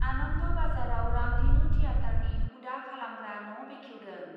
आनन्द बाजाराव रामधेनु थियेटारनि हुदा खालामग्रा न' बेखेवदों।